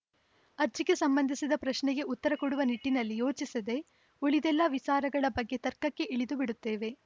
ಅರ್ಜಿಗೆ ಸಂಬಂಧಿಸಿದ ಪ್ರಶ್ನೆಗೆ ಉತ್ತರ ಕೊಡುವ ನಿಟ್ಟಿನಲ್ಲಿ ಯೋಚಿಸದೇ ಉಳಿದೆಲ್ಲ ವಿಚಾರಗಳ ಬಗ್ಗೆ ತರ್ಕಕ್ಕೆ ಇಳಿದು ಬಿಡುತ್ತಿದ್ದೇವೆ